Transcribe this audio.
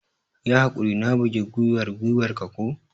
Yi haƙuri, na bugi gwiwar gwiwar ka ko?